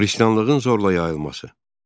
Xristianlığın zorla yayılması.